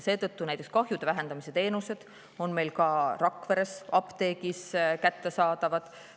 Seetõttu on meil näiteks kahjude vähendamise teenused ka Rakveres apteegis kättesaadavad.